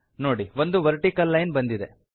ನೋಡಿ ಒಂದು vertical line ಬಂದಿದೆ